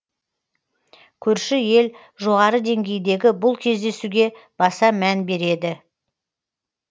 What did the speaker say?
көрші ел жоғары деңгейдегі бұл кездесуге баса мән береді